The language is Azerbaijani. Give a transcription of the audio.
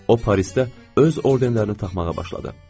O Parisdə öz orderlərini taxmağa başladı.